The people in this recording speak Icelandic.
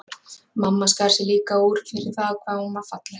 Mamma skar sig líka úr fyrir það hvað hún var falleg.